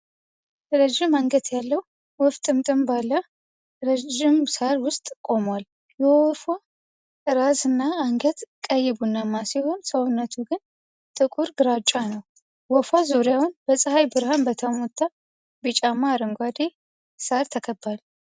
ረዥም አንገት ያለው ወፍ ጥቅጥቅ ባለው ረዥም ሣር ውስጥ ቆሟል። የወፏ ራስና አንገት ቀይ ቡናማ ሲሆን፤ ሰውነቱ ግን ጥቁር ግራጫ ነው። ወፏ ዙሪያውን በፀሐይ ብርሃን በተመታ ቢጫማ አረንጓዴ ሣር ተከቧል።